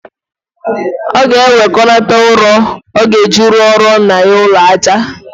Ọ ga-ewekọnata ụrọ ọ ga-eji rụọrọ nna ya ụlọaja